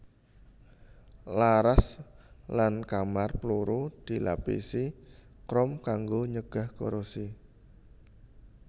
Laras lan kamar pluru dilapisi krom kanggo nyegah korosi